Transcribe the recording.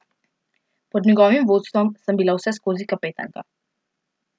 Pod njegovim vodstvom sem bila vseskozi kapetanka.